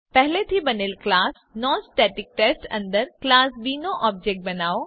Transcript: પહેલેથી બનેલ class non static test અંદર ક્લાસ બી નો ઓબ્જેક્ટ બનાવો